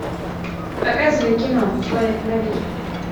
показывай кино человек муравей